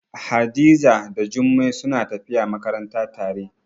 Hadiza da Jummai suna tafiya makaranta tare.